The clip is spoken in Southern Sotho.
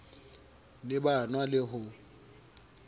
ne ba nwa le ho